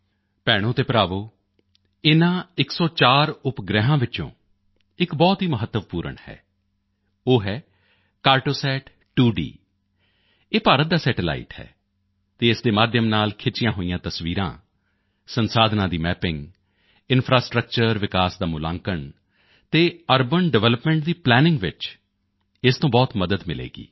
ਭੈਣੋਭਰਾਵੋ ਇਨ੍ਹਾਂ 104 ਸੈਟੇਲਾਈਟਾਂ ਵਿੱਚ ਇਕ ਬਹੁਤ ਹੀ ਮਹੱਤਵਪੂਰਨ ਹੈ ਉਹ ਹੈ ਕਾਰਟੋਸੈਟ 2D ਇਹ ਭਾਰਤ ਦਾ ਸੈਟੇਲਾਈਟ ਹੈ ਅਤੇ ਇਸ ਦੇ ਮਾਧਿਅਮ ਨਾਲ ਖਿੱਚੀਆਂ ਹੋਈਆਂ ਤਸਵੀਰਾਂ ਸੰਸਾਧਨਾਂ ਦੀ ਮੈਪਿੰਗ ਇੰਫਰਾਸਟ੍ਰਕਚਰ ਵਿਕਾਸ ਦਾ ਮੁਲਾਂਕਣ ਅਤੇ ਅਰਬਨ ਡਿਵੈਲਪਮੈਂਟ ਦੀ ਪਲੈਨਿੰਗ ਵਿੱਚ ਇਸ ਤੋਂ ਬਹੁਤ ਮਦਦ ਮਿਲੇਗੀ